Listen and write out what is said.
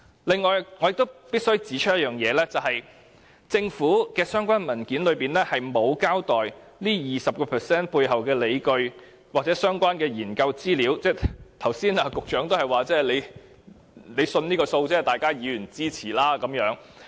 此外，我亦必須指出，在政府的相關文件中，並沒有交代 20% 背後的理據或相關研究資料，局長剛才也只是說他相信這個數字，並請各位議員支持。